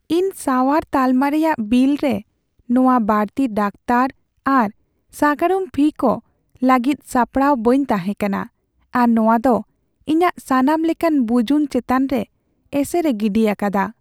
ᱤᱧ ᱥᱟᱣᱟᱨ ᱛᱟᱞᱢᱟ ᱨᱮᱭᱟᱜ ᱵᱤᱞ ᱨᱮ ᱱᱚᱶᱟ ᱵᱟᱹᱲᱛᱤ ᱰᱟᱠᱚᱛᱟᱨ ᱟᱨ ᱥᱟᱜᱟᱲᱚᱢ ᱯᱷᱤ ᱠᱚ ᱞᱟᱹᱜᱤᱫ ᱥᱟᱯᱲᱟᱣ ᱵᱟᱹᱧ ᱛᱟᱦᱮᱸ ᱠᱟᱱᱟ, ᱟᱨ ᱱᱚᱶᱟ ᱫᱚ ᱤᱧᱟᱹᱜ ᱥᱟᱱᱟᱢ ᱞᱮᱠᱟᱱ ᱵᱩᱡᱩᱱ ᱪᱮᱛᱟᱱ ᱨᱮ ᱮᱥᱮᱨᱮ ᱜᱤᱰᱤ ᱟᱠᱟᱫᱟ ᱾